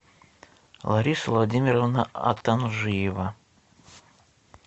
лариса владимировна атанжиева